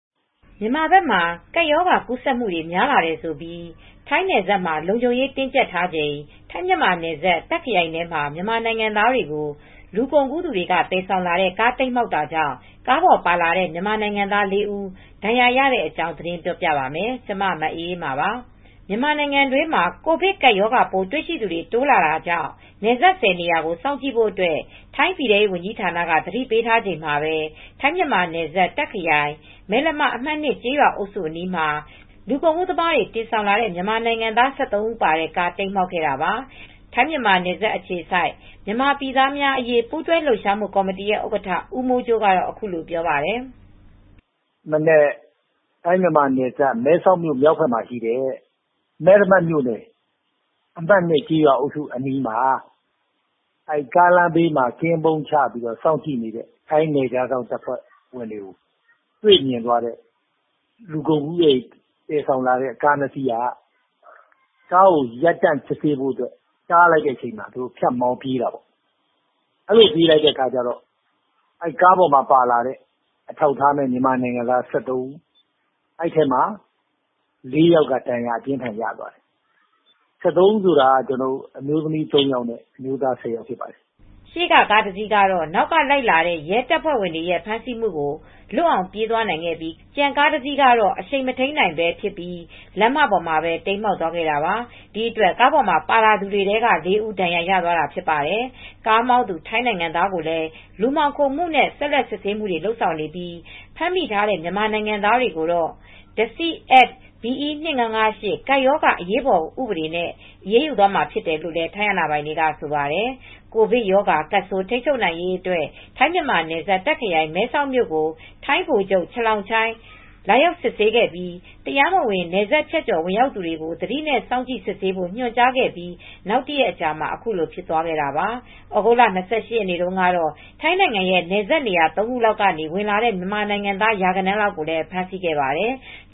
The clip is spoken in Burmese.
မြန်မာဘက်မှာ ကပ်ရောဂါကူးဆက်မှုတွေ များလာတယ်ဆိုပြီး ထိုင်းနယ်စပ်တွေမှာ လုံခြုံရေး တင်းကျပ်ချိန် ထိုင်း-မြန်မာနယ်စပ် တာခ့်ခရိုင်ထဲမှာ မြန်မာနိုင်ငံသားတွေကို လူကုန်ကူးသူတွေ သယ်ဆောင်လာတဲ့ကား တိမ်းမှောက်တာကြောင့် ကားပေါ်ပါလာတဲ့ မြန်မာနိုင်ငံသား ၄ ဦး ဒဏ်ရာရသွားပါတယ်။ အပြည့်အစုံကို ထိုင်းအခြေစိုက် ဗွီအိုအေ မြန်မာပိုင်း သတင်းထောက် မအေးအေးမာ တင်ပြပေးထားပါတယ်။ မြန်မာနိုင်ငံတွင်းမှာ ကိုဗစ်ကပ်ရောဂါပိုး တွေ့ရှိသူတွေ တိုးလာတာကြောင့် နယ်စပ် ၁၀ နေရာကို စောင့်ကြည့်ဖို့အတွက် ထိုင်းပြည်ထဲရေးဝန်ကြီးဌာနကနေ သတိပေးထားချိန်မှာပဲ ထိုင်း-မြန်မာနယ်စပ် တာခ့်ခရိုင် မယ်လမ အမှတ် ၂ ကျေးရွာအုပ်စုအနီးမှာ လူကုန်ကူးသမားတွေ တင်ဆောင်လာတဲ့ မြန်မာနိုင်ငံသား ၁၃ ဦးပါတဲ့ကား တိမ်းမှောက်ခဲ့တာပါ။ ထိုင်း-မြန်မာနယ်စပ်အခြေစိုက် မြန်မာပြည်သားများအရေး ပူးတွဲလှုပ်ရှားမှုကော်မတီ ဥက္ကဋ္ဌ ဦးမိုးကြိုးကတော့ အခုလိုပြောပြပါတယ်။ “ဒီမနက် ထိုင်း-မြန်မာနယ်စပ် မဲဆောက်မြို့ မြောက်ဘက်မှာရှိတဲ့ မယ်လမမြို့နယ် အမှတ် ၂ ကျေးရွာအုပ်စုအနီးမှာ ကားလမ်းဘေး ကင်းပုန်းချ စောင့်ကြည့်စစ်ဆေးနေတဲ့ နယ်ခြားစောင့်အဖွဲ့တွေကို တွေ့မြင်သွားတဲ့ လူကုန်ကူးပြီး သယ်ဆောင်လာတဲ့ကား ၂ စီးက ဖြတ်မောင်းပြေးတော့ ကားပေါ်မှာပါတဲ့ ၁၃ ယောက်ထဲက ၄ ယောက်က ဒဏ်ရာပြင်းထန်စွာ ရသွားတယ်။ ၁၃ ဦးဆိုတာ အမျိုးသမီး ၃ ဦး၊ အမျိုးသား ၁၀ဦး ဖြစ်ပါတယ်။” ရှေ့ကကားတစီးကတော့ နောက်ကလိုက်လာတဲ့ ရဲတပ်ဖွဲ့ဝင်တွေရဲ့ ဖမ်းဆီးမှုကို လွတ်အောင်မောင်းပြေးသွားခဲ့ပြီး ကျန်ကားတစီးကတော့ အရှိန်မထိန်းနိုင်ဖြစ်ပြီး လမ်းမပေါ်မှာ တိမ်းမှောက်သွားခဲ့တာပါ။ ဒီအတွက် ကားပေါ်မှာ ပါလာသူတွေထဲက ၄ ဦး ဒဏ်ရာရသွားတာ ဖြစ်ပါတယ်။ ကားမောင်းသူ ထိုင်းနိုင်ငံသားကိုလည်း လူမှောင်ခိုမှုနဲ့ ဆက်လက်စစ်ဆေးမှုတွေ လုပ်ဆောင်နေပြီး ဖမ်းမိထားတဲ့ မြန်မာနိုင်ငံသားတွေကိုတော့ Disease Act B.E. 2558 ကပ်ရောဂါ အရေးပေါ်ဥပဒေနဲ့ အရေးယူသွားမှာဖြစ်တယ်လို့ ထိုင်းအာဏာပိုင်တွေက ဆိုပါတယ်။ ကိုဗစ်ရောဂါကပ်ဆိုး ထိန်းချုပ်နိုင်ရေးအတွက် ထိုင်း-မြန်မာနယ်စပ် တာ့ခ်ခရိုင် မဲဆောက်မြို့ကို ထိုင်းဗိုလ်ချုပ် Chalongchai Chaiyakham လာရောက်စစ်ဆေးခဲ့ပြီး တရားမဝင် နယ်စပ်ဖြတ်ကျော် ဝင်ရောက်လာသူတွေကို သတိနဲ့ စောင့်ကြည့်စစ်ဆေးဖို့ ညွှန်ကြားခဲ့ပြီး နောက်တရက်အကြာမှာ ခုလိုဖြစ်ပွားခဲ့တာပါ။ သြဂုတ်လ ၂၈ ရက်နေ့ကတော့ ထိုင်းနိုင်ငံရဲ့ နယ်စပ်နေရာ ၃ ခုလောက်ကနေ ဝင်လာတဲ့ မြန်မာအလုပ်သမား ရာဂဏန်းလောက်ကိုလည်း ဖမ်းဆီးခဲ့ပါတယ်။